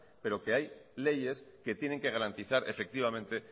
pero que hay leyes que tienen que garantizar efectivamente